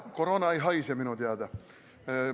Koroona ei haise minu teada.